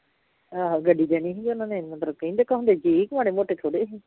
ਆਹੋ ਗੱਡੀ ਦੇਣੀ ਹੀ ਉਹਨਾਂ ਨੇ ਮਤਲਬ ਕਹਿੰਦੇ ਕਹਾਉਂਦੇ ਸੀ ਮਾੜੇ ਮੋਟੇ ਥੋੜੀ ਸੀ